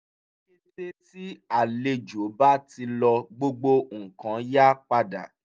ní kété tí àlejò bá ti lọ gbogbo nkan yá padà